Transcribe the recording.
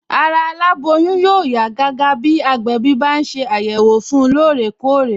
Ara aláboyún yóò yá gágá bí agbẹ̀bí bá ń ṣe àyẹ̀wò fun lóòrè kóòrè